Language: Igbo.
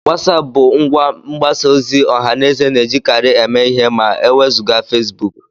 WhatsApp bụ ngwa mgbasa ozi ọha na eze na-ejikarị eme ihe ma e wezụga Facebook